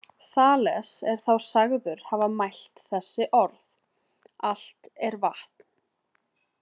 Þales er þá sagður hafa mælt þessi orð: Allt er vatn.